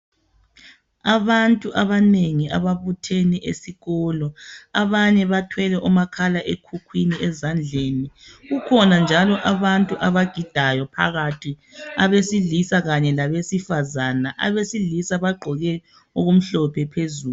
Abantu abanengi ababuthene esikolo. Abanye bathwele omakhala ekhukhwini ezandleni. Kukhona njalo abantu abagidayo phakathi abesilisa kanye labesifazana. Abesilisa bagqoke okumhlophe phezulu.